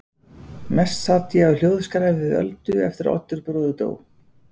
Mest sat ég á hljóðskrafi við Öldu eftir að Oddur bróðir dó.